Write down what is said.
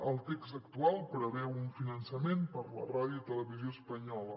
el text actual preveu un finançament per a la ràdio i televisió espanyola